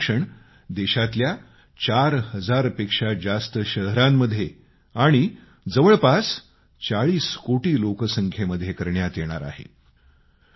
असे सर्वेक्षण देशातल्या चार हजार पेक्षा जास्त शहरांमध्ये आणि जवळपास 40 कोटी लोकसंख्येमध्ये करण्यात येणार आहे